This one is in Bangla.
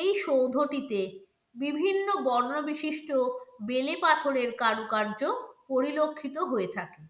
এই সৌধটিতে বিভিন্ন বর্ণ বিশিষ্ট বেলে পাথরের কারুকার্য পরিলক্ষিত হয়ে থাকে।